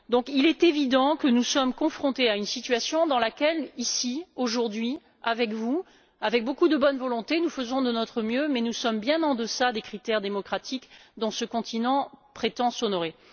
Il est évident que nous sommes confrontés à une situation dans laquelle ici, aujourd'hui, avec vous, avec beaucoup de bonne volonté, nous faisons de notre mieux, mais nous sommes bien en deçà des critères démocratiques dont ce continent prétend s'honorer.